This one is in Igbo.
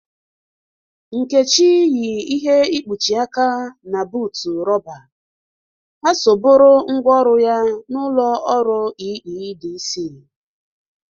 Nkechi yi ihe ịkpụchị aka na bụụtụ roba. Ha so bụrụ ngwa ọrụ ya na ụlọ ọrụ EEDC.